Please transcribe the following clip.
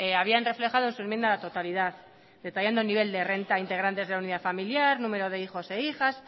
habían reflejado en su enmienda a la totalidad detallando nivel de renta integrantes de la unidad familiar número de hijos e hijas